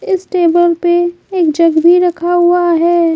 इस टेबल पे एक जग भी रखा हुआ है।